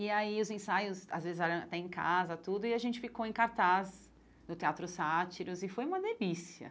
E aí os ensaios, às vezes, eram até em casa, tudo, e a gente ficou em cartaz do Teatro Sátiros, e foi uma delícia.